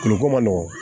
Tulu ko man nɔgɔn